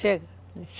Chega.